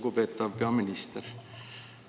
Lugupeetav peaminister!